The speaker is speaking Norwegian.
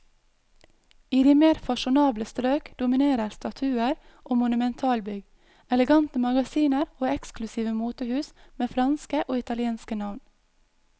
I de mer fasjonable strøk dominerer statuer og monumentalbygg, elegante magasiner og eksklusive motehus med franske og italienske navn.